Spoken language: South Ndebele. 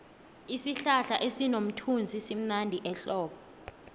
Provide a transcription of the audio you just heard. isihlahla sinomthunzivmnandi ehlobo